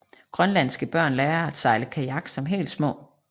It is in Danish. Grønlandske børn lærer at sejle kajak som helt små